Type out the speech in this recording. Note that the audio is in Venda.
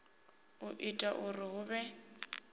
u ita uri hu vhe